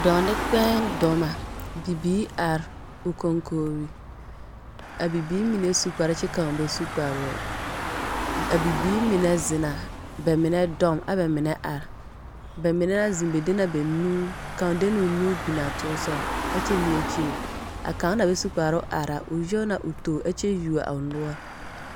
Dɔɔ nekpeeŋ dɔma, bibiir ar o koŋkoori. A bibiir mine su kpar kyɛ kão bɛ su kparoɛ. A bibiir mine zenna, bɛ mine dɔm ɛ bɛmine ar. Bɛ mine na zeŋa bɛ de na bɛ nu kão de nea o nu binaa toosɔ ɛkyɛ nyɛɛ kyire. A kão na bɛ su kparo ara, o nyɔɔ naa o toor ɛkyɛ yuo a o noɔr.